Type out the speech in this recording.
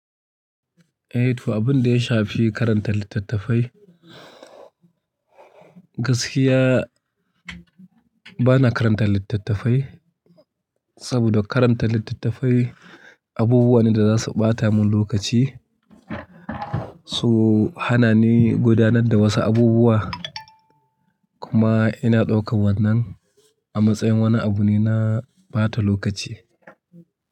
Eh to abun da ya shafi karanta littattafai, gaskiya bana karanta littattafai saboda karanta littattafai abubuwa ne da za su ɓata mun lokaci su hana ni gudanar da wasu abubuwa kuma ina ɗaukan wannan a matsayin wani abu ne na ɓata lokaci.